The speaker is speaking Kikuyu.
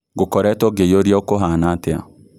ngũkoretwo ngĩyũria ũkũhana atĩa